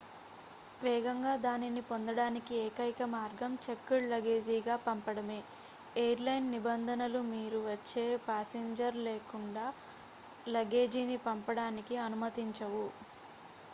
వేగంగా దానిని పొందడానికి ఏకైక మార్గం చెక్డ్ లగేజీగా పంపడమే ఎయిర్ లైన్ నిబంధనలు మీరు వచ్చే ప్యాసింజర్ లేకుండా లగేజీని పంపడానికి అనుమతించవు